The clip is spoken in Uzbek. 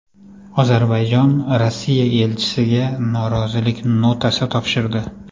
Ozarbayjon Rossiya elchisiga norozilik notasi topshirdi.